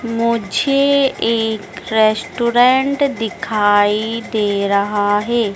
मुझे एक रेस्टोरेंट दिखाई दे रहा है।